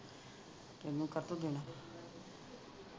ਤੈਨੂੰ ਕਾਹਤੋਂ